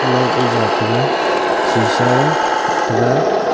light e ja taga sisa e taga.